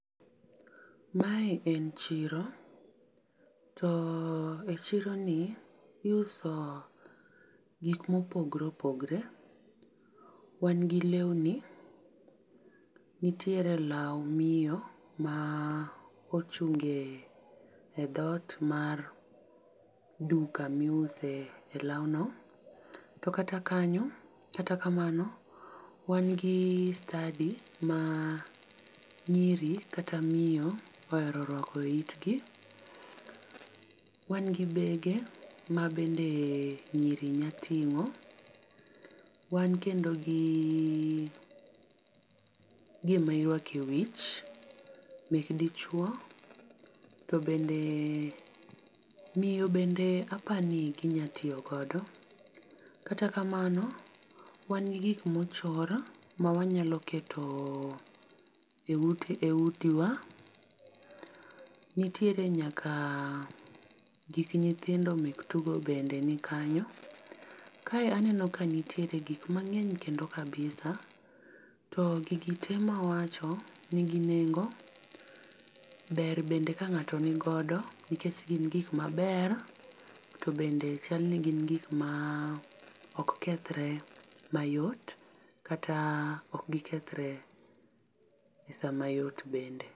Mae en chiro to echironi iuso gik mopogore opogore. Wan gi lewni, nitiere law miyo ma ochunge e dhoot mar duka miuse e lawno to kata kanyo kata kamano wan gi stadi ma nyiri kata miyo ohero ruako eitgi. Wan gi bege mabende nyiri nyalo ting'o, wan kendo gi gima irwako ewich mek dichuo to bende miyo bende apani ginyalo tiyo godo. To kata kamano wan gi gik mochor mawanyalo keto eutewa. Nitiere nyaka gik nyithindo mek tugo bende nikanyo. Ka aneno ka nitiere gik mang'eny kendo kabisa to gigi te mawacho nigi nengo ber bende ka ng'ato nigodo nikech gin gik maber to bende chal ni gin gik maok kethre mayot kata ok gikethre esaa mayot bende.